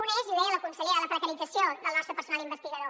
una és i ho deia la consellera la precarització del nostre personal investigador